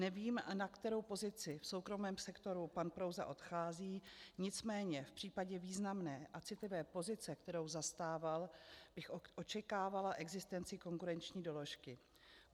Nevím, na kterou pozici v soukromém sektoru pan Prouza odchází, nicméně v případě významné a citlivé pozice, kterou zastával, bych očekávala existenci konkurenční doložky.